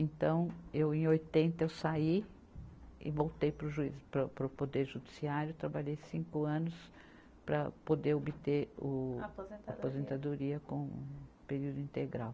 Então, eu, em oitenta, eu saí e voltei para o juiz, pa para o poder judiciário, trabalhei cinco anos para poder obter o a aposentadoria com período integral.